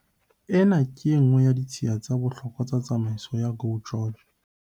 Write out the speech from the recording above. Ena ke e nngwe ya ditshiya tsa bohlokwa tsa tsamaiso ya GO GEORGE.